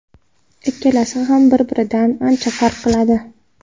Ikkalasi ham bir-biridan ancha farq qiladi.